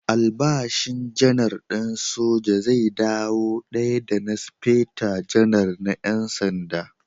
Albashin Janar din soja zai dawo daya da na Speta Janar na ƴan sanda.